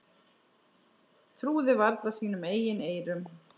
Trúði varla sínum eigin eyrum.